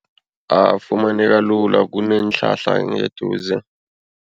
Afumaneka lula kuneenhlahla ngeduze.